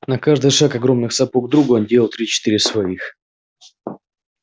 на каждый шаг огромных сапог друга он делал три-четыре своих